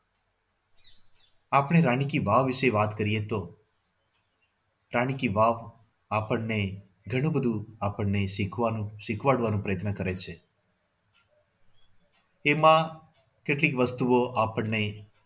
આપણે રાણી કી વાવ વિશે વાત કરીએ તો રાણી કી વાવ આપણને ઘણું બધું આપણને શીખવાનું શીખડાવવાનું પ્રયત્ન કરે છે. એમાં કેટલીક વસ્તુઓ આપણને